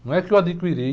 Não é que eu adquiri...